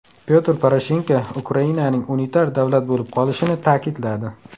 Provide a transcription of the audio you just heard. Pyotr Poroshenko Ukrainaning unitar davlat bo‘lib qolishini ta’kidladi.